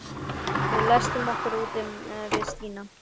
Við læstum okkur úti við Stína.